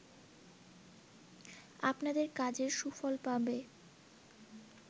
আপনাদের কাজের সুফল পাবে